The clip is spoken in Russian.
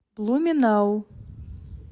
блуменау